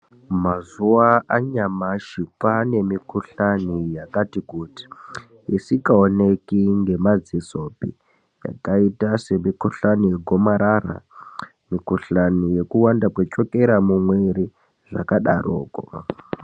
Mazuwa anyamashi kwane mikhuhlani yakati kuti isikaoneki ngemadzisopi yakaita semikhuhlani yegomarara, mikhuhlani yekuwanda kwechokera mumwiri zvakadarokwo.